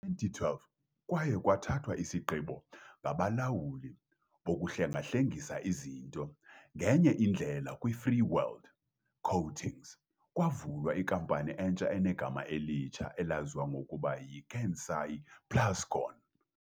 Ngo-2012, kwaye kwathathwa isigqibo ngabalawuli bokuhlengahlengisa izinto ngenye indlela kwiFreeworld Coatings, kwavulwa inkampani entsha enegama elitsha elaziwa ngokuba yiKansai Plascon.